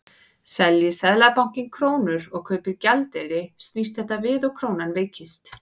Selji Seðlabankinn krónur og kaupir gjaldeyri snýst þetta við og krónan veikist.